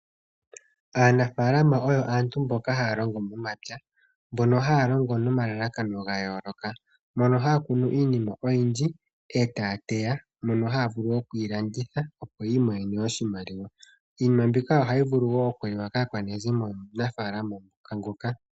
Aanafalama oyo aantu mboka haya longo momapya, mbono haya longo nomalalakano gayooloka. Mono haya kunu iinima oyindji etaya teya. Mono haya vulu okuyi landitha opo yi imonene oshimaliwa. Iinima mbika ohayi vulu wo okuliwa kaakwanezimo yomunafaalama nguka.